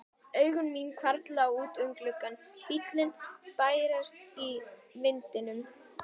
Augu mín hvarfla út um gluggann, bíllinn bærist í vindinum.